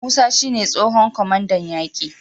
Musa shi ne tsohon kwamandan yaki